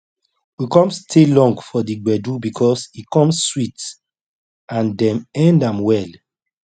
we come stay long for the gbedu because e come sweet and dem end am well